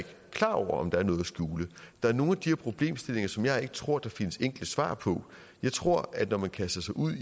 klar over om der er noget skjule der er nogle af de her problemstillinger som jeg ikke tror der findes enkle svar på jeg tror at når man kaster sig ud i